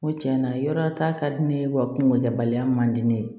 N ko tiɲɛna yɔrɔ ta ka di ne ye wa kungokɛbaliya man di ne ye